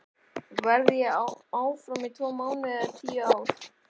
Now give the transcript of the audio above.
Verð ég áfram í tvo mánuði eða tíu ár?